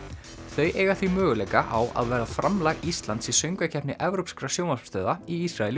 þau eiga því möguleika á að vera framlag Íslands í söngvakeppni evrópskra sjónvarpsstöðva í Ísrael í